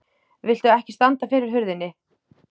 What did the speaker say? VILTU EKKI STANDA FYRIR HURÐINNI!